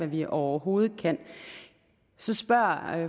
vi overhovedet kan så spørger